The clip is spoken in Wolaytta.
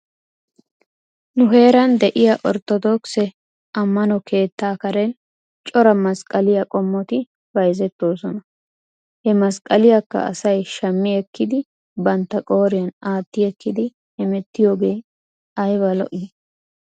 Nu heeran de'iyaa Ortodookise amno keettaa karen cora masqqaliyaa qommoti bayzettoosona. He masqqaliyaakka asay shammi ekkidi bantta qooriyan aati ekkidi hemettiyoogee ayba lo'ii?